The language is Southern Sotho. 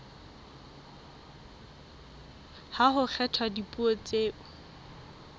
ha ho kgethwa dipuo tseo